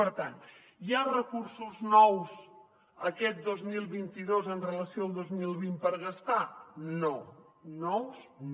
per tant hi ha recursos nous aquest dos mil vint dos amb relació al dos mil vint per gastar no nous no